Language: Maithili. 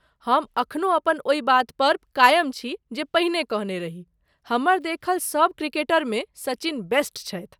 हम एखनो अपन ओहि बात पर कायम छी जे पहिले कहने रही, हमर देखल सभ क्रिकेटरमे सचिन बेस्ट छथि।